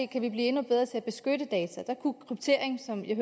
kan vi blive endnu bedre til at beskytte data og der kunne kryptering som jeg